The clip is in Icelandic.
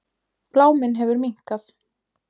Bláminn hefur minnkað.